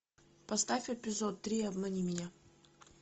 поставь эпизод три обмани меня